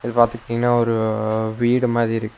பாத்துக்கிட்டீங்னா ஒரு வீடு மாரி இருக்கு.